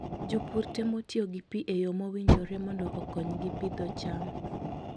Jopur temo tiyo gi pi e yo mowinjore mondo okonygi pidho cham.